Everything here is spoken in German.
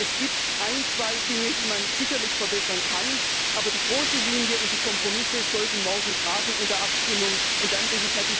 Es gibt ein, zwei Dinge, die man sicherlich verbessern kann, aber die große Linie und die Kompromisse sollten morgen in der Abstimmung Bestand haben.